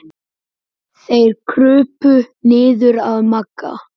Þeir krupu niður að Magga.